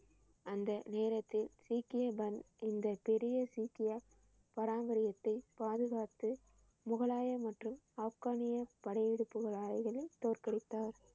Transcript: அந்த நேரத்தில் இந்த பெரிய சீக்கிய பாரம்பரியத்தை பாதுகாத்து முகலாய மற்றும் ஆப்கானிய தோற்கடித்தார்